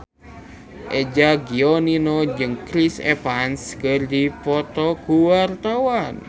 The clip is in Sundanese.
Eza Gionino jeung Chris Evans keur dipoto ku wartawan